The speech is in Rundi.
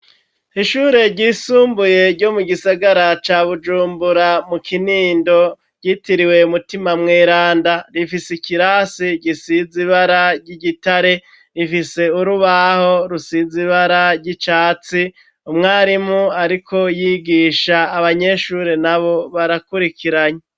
Ishure ryisumbuye ryo mu gisagara ca Bujumbura mu Kinindo, yitiriwe Mutima Mweranda rifise ikirasi gisiz'ibara ry'igitare, rifise urubaho rusize ibara ry'icatsi, umwarimu ariko yigisha abanyeshure nabo barakurikiranye.